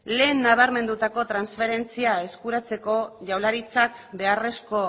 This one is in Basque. lehen nabarmendutako transferentzia eskuratzeko jaurlaritzak beharrezko